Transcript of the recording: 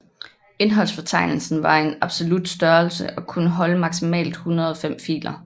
Indholdsfortegnelsen var en absolut størrelse og kunne holde maksimalt 105 filer